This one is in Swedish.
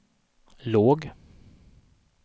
låg